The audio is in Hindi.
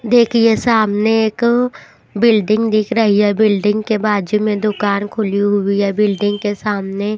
देखिए सामने एक बिल्डिंग दिख रही है बिल्डिंग के बाजू में दुकार खुली हुई है बिल्डिंग के सामने.--